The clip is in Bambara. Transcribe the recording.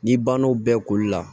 N'i bann'o bɛɛ koli la